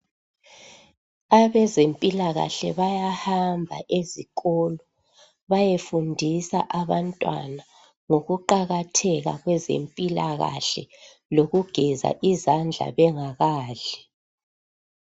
Abezempilakahle bayahamba ezikolo bayefundisa abantwana ngokuqakatheka kwezempilakahle lokugeza izandla bengakadli.